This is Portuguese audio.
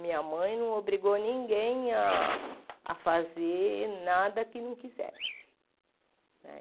Minha mãe não obrigou ninguém a a fazer nada que não quisesse.